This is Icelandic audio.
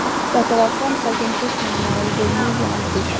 Þetta var framsækinn dugnaðarmaður við miðjan aldur.